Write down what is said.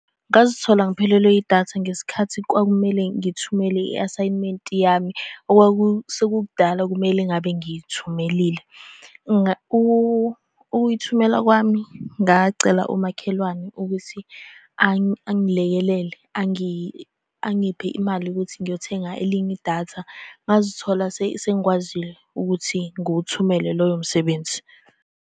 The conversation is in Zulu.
Ngazithola ngiphelelwe yidatha ngesikhathi kwakumele ngithumele i-asayimenti yami okwakusekukudala kumele ngabe ngiyithumelile. Ukuyithumela kwami ngacela umakhelwane ukuthi angilekelele, angiphe imali ukuthi ngiyothenga elinye idatha. Ngazithola sengikwazi ukuthi nguthumele loyo msebenzi.